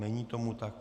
Není tomu tak.